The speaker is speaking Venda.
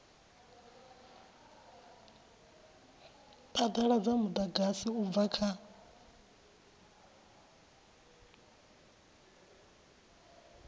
phadaladza mudagasi u bva kha